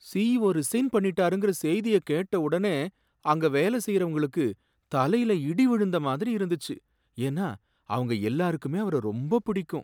CEO resign பண்ணிட்டாருங்கற செய்திய கேட்ட ஒடனே அங்க வேலை செய்யறவங்களுக்கு தலையில இடி விழுந்த மாதிரி இருந்துச்சு, ஏன்னா அவங்க எல்லாருக்குமே அவர ரொம்ப பிடிக்கும்.